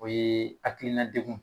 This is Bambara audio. O ye hakilina degun